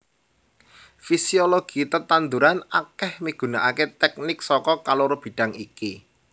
Fisiologi tetanduran akèh migunakaké teknik saka kaloro bidhang iki